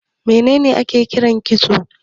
Me ne ne ake kira kitso?